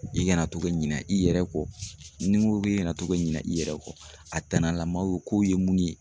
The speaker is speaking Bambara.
I kana to ka ɲina i yɛrɛ kɔ, ni ko i kana to ka ɲina i yɛrɛ kɔ, a tanalamaw k'o ye mun ye.